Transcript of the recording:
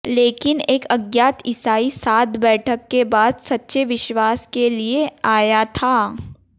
लेकिन एक अज्ञात ईसाई साथ बैठक के बाद सच्चे विश्वास के लिए आया था